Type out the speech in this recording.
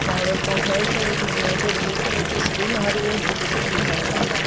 Marbles का फर्श है ए टी एम में से ब्लू कलर की स्क्रीन आ रही है जिस पर कुछ लिखा हुआ है।